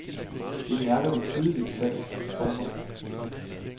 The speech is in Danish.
Det mærker vi tydeligt selv. punktum